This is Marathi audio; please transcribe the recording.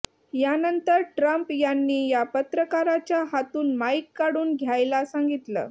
यानंतर ट्रम्प यांनी या पत्रकाराच्या हातून माईक काढून घ्यायला सांगितलं